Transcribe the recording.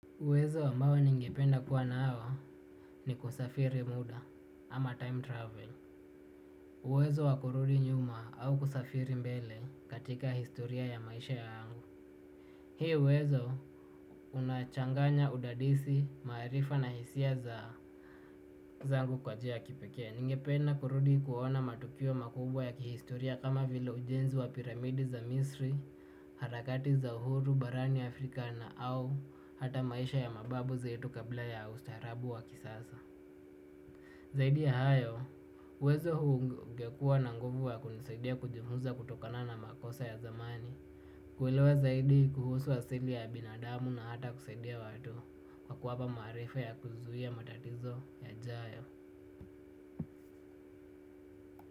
Uwezo ambao ningependa kuwa nao ni kusafiri muda ama time travel. Uwezo wa kurudi nyuma au kusafiri mbele katika historia ya maisha yangu. Hii uwezo unachanganya udadisi, maarifa na hisia zangu kwa njia ya kipeke. Ningependa kurudi kuona matukio makubwa ya kihistoria kama vile ujenzi wa piramidi za Misri, harakati za uhuru barani Afrika na au hata maisha ya mababu zetu kabla ya ustarabu wa kisasa. Zaidi ya hayo uwezo huu ungekua na nguvu wa kunisidia kujifunza kutokana na makosa ya zamani. Kuelewa zaidi kuhusu asili ya binadamu na hata kusaidia watu kwa kuwapa maarifa ya kuzuia matatizo yajayo.